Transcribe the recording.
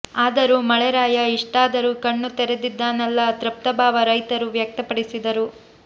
ಆದರೂ ಮಳೆರಾಯ ಇಷ್ಟಾದರೂ ಕಣ್ಣು ತೆರೆದಿದ್ದಾನಲ್ಲ ತೃಪ್ತ ಭಾವ ರೈತರು ವ್ಯಕ್ಯಪಡಿಸಿದರು